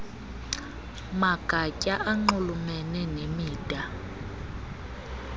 magatya anxulumene nemida